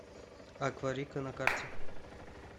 акварика на карте